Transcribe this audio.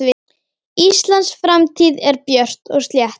Íslands framtíð björt og slétt.